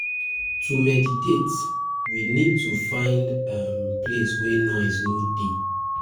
To meditate, we need to find um place wey noise no dey